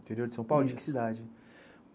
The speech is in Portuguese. Interior de São Paulo, de que cidade?